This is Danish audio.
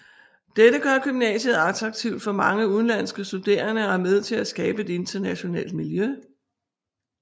Dette gør gymnasiet attraktivt for mange udenlandske studerende og er med til at skabe et internationalt miljø